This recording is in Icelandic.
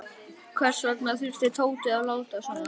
Hvers vegna þurfti Tóti að láta svona.